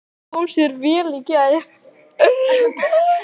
Það kom sér vel í gær.